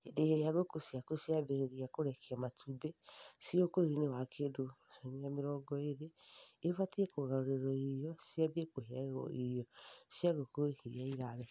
Hĩndĩ ĩrĩa ngũkũ ciaku ciambĩrĩria kũrekia matumbĩ (ciĩ ũkũrũ-inĩ wa kĩndũ ciumia mĩrongo ĩĩrĩ) ibatiĩ kũgarũrĩrwo irio ciambie kũheagwo irio cia ngũkũ iria irarekia.